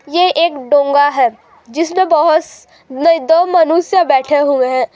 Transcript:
ये एक डोंगा है जिसमें बहुत नहीं दो मनुष्य बैठे हुए हैं।